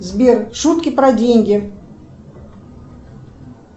сбер шутки про деньги